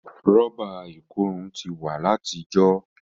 Rọ́bà ikòrun ti wa lati ìjọ.